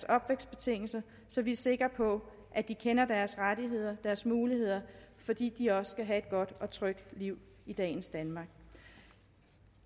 opvækstbetingelser så vi er sikre på at de kender deres rettigheder og deres muligheder fordi de også skal have et godt og trygt liv i dagens danmark